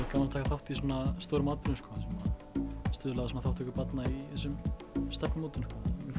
gaman að taka þátt í svona stórum atburði sem stuðla að þátttöku barna í þessum stefnumótunum